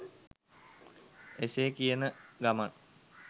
එසේ කියන ගමන්